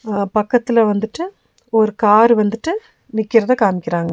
அ பக்கத்துல வந்துட்டு ஒரு கார் வந்துட்டு நிக்கிறத காமிக்கிறாங்க.